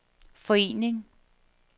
forening